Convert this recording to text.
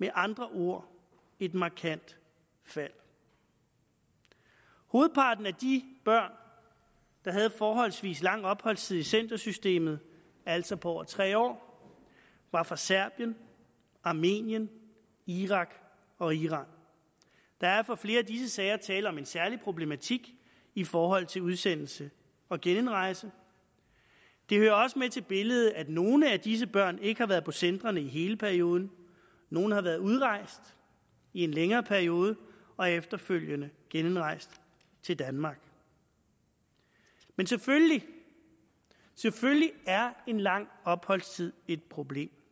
med andre ord et markant fald hovedparten af de børn der havde forholdsvis lang opholdstid i centersystemet altså på over tre år var fra serbien armenien irak og iran der er for flere af disse sager tale om en særlig problematik i forhold til udsendelse og genindrejse det hører også med til billedet at nogle af disse børn ikke har været på centrene i hele perioden nogle har været udrejst i en længere periode og er efterfølgende genindrejst til danmark men selvfølgelig er en lang opholdstid et problem